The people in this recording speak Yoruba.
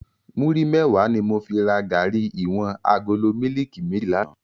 Múri mèwá ni mó fi rá gàrí iwòn àgóló mìlíkí mèjí làná